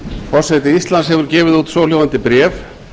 forseti íslands hefur gefið út svohljóðandi bréf